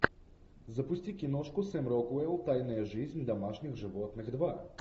запусти киношку сэм рокуэлл тайная жизнь домашних животных два